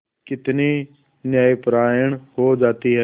कितनी न्यायपरायण हो जाती है